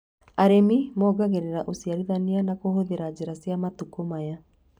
Arĩmi mongagĩrĩra ũciarithania na kũhũthĩra njĩra cia matukũ maya